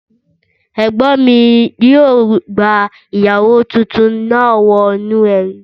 Ẹ̀gbọ́n mi yóò gba ìyàwó tuntun náà wọ inú ẹbí